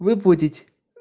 выплатить